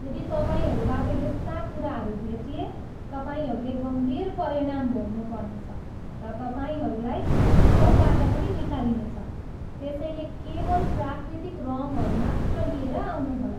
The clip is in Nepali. यदि तपाईँहरूबाट यस्ता कुराहरू भेटिए, तपाईँहरूले गम्भीर परिणाम भोग्नुपर्नेछ र तपाईँहरूलाई उत्सवबाट पनि निकालिनेछ, त्यसैले केवल प्राकृतिक रङ्गहरू मात्र लिएर आउनुहोला!